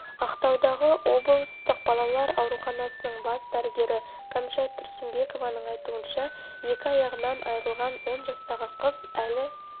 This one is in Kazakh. ақтаудағы облыстық балалар ауруханасының бас дәрігері кәмшат тұрсынбекованың айтуынша екі аяғынан айырылған он жастағы қыз әлі